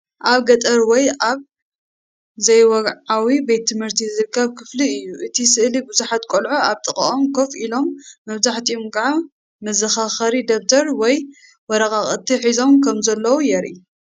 ኣብ ገጠር ወይ ኣብ ዘይወግዓዊ ቤት ትምህርቲ ዝርከብ ክፍሊ እዩ::እቲ ስእሊ ብዙሓት ቈልዑ ኣብ ጥቓኦም ኮፍ ኢሎም መብዛሕትኦም ከኣ መዘኻኸሪ ደብተር ወይ ወረቓቕቲ ሒዞም ከም ዘለዉ የርኢ።